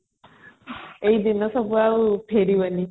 ଏ ଦିନ ସବୁ ଆଉ ଫେରିବନି